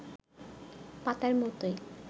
পাতার মতোই